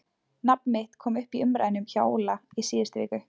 Nafn mitt kom upp í umræðunni hjá Óla í síðustu viku.